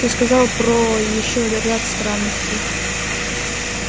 ты сказал про ещё ряд странностей